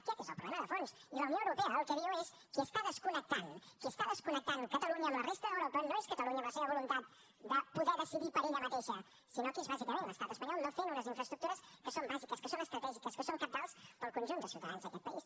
aquest és el problema de fons i la unió europea el que diu és qui està desconnectant qui està desconnectant catalunya amb la resta d’europa no és catalunya amb la seva voluntat de poder decidir per ella mateixa sinó que és bàsicament l’estat espanyol no fent unes infraestructures que són bàsiques que són estratègiques que són cabdals per al conjunt de ciutadans d’aquest país